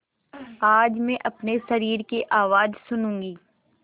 आज मैं अपने शरीर की आवाज़ सुनूँगी